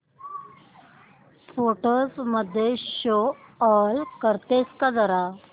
photos मध्ये show all करतेस का जरा